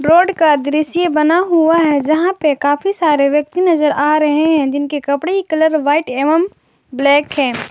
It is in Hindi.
रोड का दृश्य बना हुआ है जहां पर काफी सारे व्यक्ति नजर आ रहे हैं जिनके कपड़े कलर व्हाइट एवं ब्लैक है।